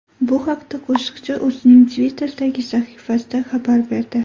Bu haqda qo‘shiqchi o‘zining Twitter’dagi sahifasida xabar berdi .